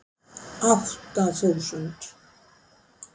Átta þúsund